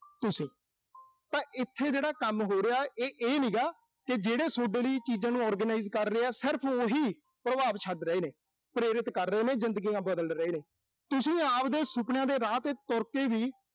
ਤੁਸੀਂ। ਤਾਂ ਇਥੇ ਜਿਹੜਾ ਕੰਮ ਹੋ ਰਿਹਾ, ਇਹ, ਇਹ ਨੀਂ ਗਾ, ਕਿ ਜਿਹੜੇ ਸੋਡੇ ਲਈ ਚੀਜ਼ਾਂ ਨੂੰ organize ਕਰ ਰਹੇ ਆ। ਸਿਰਫ਼ ਉਹੀ ਪ੍ਰਭਾਵ ਛੱਡ ਰਹੇ ਨੇ, ਪ੍ਰਰਿਤ ਕਰ ਰਹੇ ਨੇ, ਜ਼ਿੰਦਗੀਆਂ ਬਦਲ ਰਹੇ ਨੇ। ਤੁਸੀਂ ਆਬਦੇ ਸੁਪਨਿਆਂ ਦੇ ਰਾਹ ਤੇ ਤੁਰ ਕੇ ਵੀ,